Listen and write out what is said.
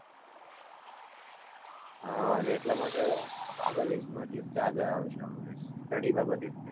હા અને એટલા માટે આપણા દેશમાંથી જ તે આગળ આવે છે આ બધા, study બાબતે